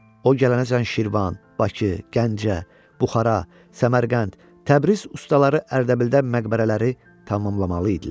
O gələnəcən Şirvan, Bakı, Gəncə, Buxara, Səmərqənd, Təbriz ustaları Ərdəbildə məqbərələri tamamlamalı idilər.